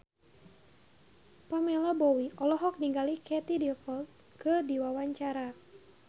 Pamela Bowie olohok ningali Katie Dippold keur diwawancara